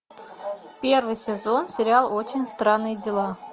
первый сезон сериал очень странные дела